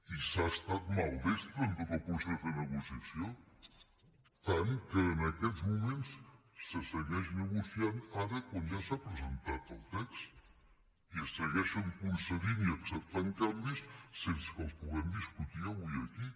i s’ha estat maldestre en tot el procés de negociació tant que en aquests moments se segueix negociant ara quan ja s’ha presentat el text i es segueixen concedint i acceptant canvis sense que els puguem discutir avui aquí